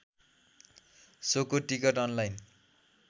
सोको ticket online